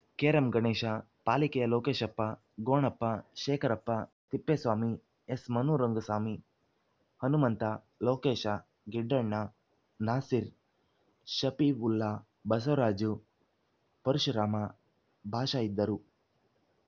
carrom Ganesha ಪಾಲಿಕೆಯ ಲೋಕೇಶಪ್ಪ ಗೋಣಪ್ಪ ಶೇಖರಪ್ಪ ತಿಪ್ಪೇಸ್ವಾಮಿ ಎಸ್‌ಮನು ರಂಗಸ್ವಾಮಿ ಹನುಮಂತ ಲೋಕೇಶಗಿಡ್ಡಣ್ಣ ನಾಸಿರ್‌ ಷಫೀವುಲ್ಲಾ ಬಸವರಾಜ್ ಪರಶುರಾಮಬಾಷಾ ಇದ್ದರು